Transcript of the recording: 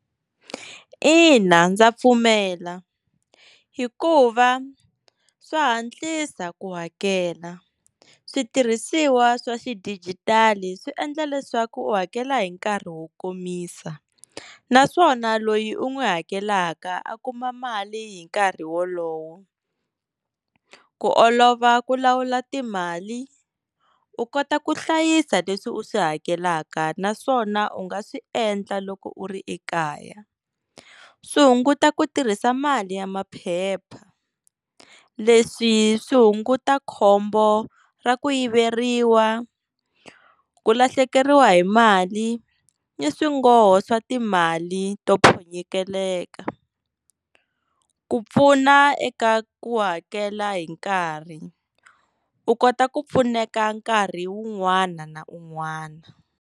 Ina, ndza pfumela hikuva swa hantlisa ku hakela switirhisiwa swa xidijitali swi endla leswaku u hakela hi nkarhi wo komisa naswona loyi u n'wi hakelaka a kuma mali hi nkarhi wolowo ku olova ku lawula timali u kota ku hlayisa leswi u swi hakelaka naswona u nga swi endla loko u ri ekaya swi hunguta ku tirhisa mali ya maphepha leswi swi hunguta khombo ra ku yiveriwa ku lahlekeriwa hi mali ni swingoho swa timali to ku pfuna eka ku hakela hi nkarhi u kota ku pfuneka nkarhi wun'wana na un'wana.